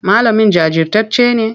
Malamin jajirtacce ne?